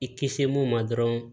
I kisi mun ma dɔrɔn